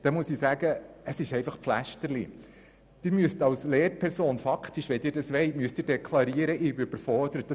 Hier gibt es jedoch ein Problem: Wenn eine Lehrperson diese beanspruchen will, muss sie deklarieren, dass sie überfordert ist.